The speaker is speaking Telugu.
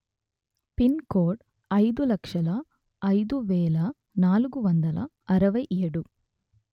పిన్ కోడ్ అయిదు లక్షల అయిదు వేల నాలుగు వందల అరవై ఏడు